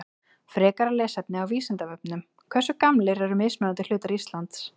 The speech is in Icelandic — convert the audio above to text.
Frekara lesefni á Vísindavefnum Hversu gamlir eru mismunandi hlutar Íslands?